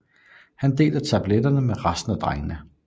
Han deler tabeletterne med resten af drengene